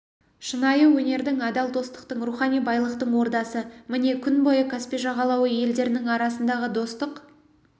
шынайы өнердің адал достықтың рухани байлықтың ордасы міне күн бойы каспий жағалауы елдерінің арасындағы достық